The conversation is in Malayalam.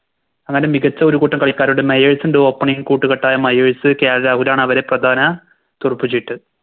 അങ്ങനെ മികച്ച ഒരു കൂട്ടം കളിക്കാരുടെ മയൻസ് ൻറെ Opening കൂട്ടുകെട്ടായ മയേസ് ആണ് അവരെ പ്രധാന തുറുപ്പ് ചീട്ട്